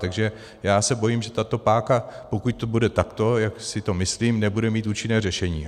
Takže já se bojím, že tato páka, pokud to bude takto, jak si to myslím, nebude mít účinné řešení.